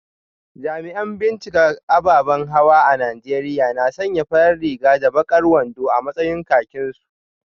Jami’an binciken ababan hawa a Najeriya na sanya farar riga da bakar wando a matsayin kakinsu